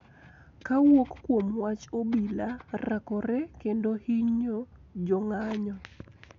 Kowuok kuom wach obila rakore kendo hinyo jong`anyo